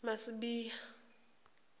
masibiya